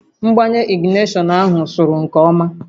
Mgbanye ignishọn ahụ sụrụ nke ọma